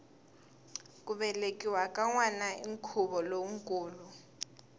ku velekiwa ka nwana i nkhuvo lowukulu